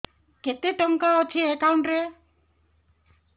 କେତେ ଟଙ୍କା ଅଛି ଏକାଉଣ୍ଟ୍ ରେ